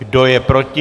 Kdo je proti?